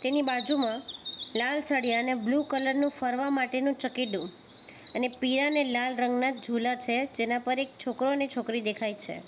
એની બાજુમાં લાળછડિયાને blue colour નું ફરવા માટેનું ચકેડુ અને પીળાને લાલ રંગના ઝૂલા છે જેના પર એક છોકરો અને છોકરી દેખાય છે.